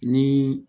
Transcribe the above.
Ni